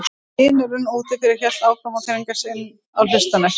Dynurinn úti fyrir hélt áfram að þrengja sér inn í hlustirnar.